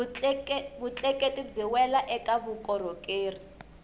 vutleketli byi wela eka vukorhokeri